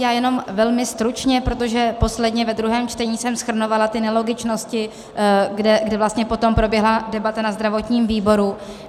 Já jenom velmi stručně, protože posledně, ve druhém čtení, jsem shrnovala ty nelogičnosti, kde vlastně potom proběhla debata na zdravotním výboru.